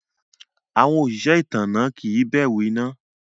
Awọn osìsẹ̀ itánná kí n bẹ̀rù iná.